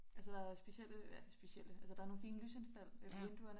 Altså der specielle ja specielle altså der nogle fine lysindfald ved vinduerne